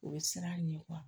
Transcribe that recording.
O bɛ siran a ɲɛ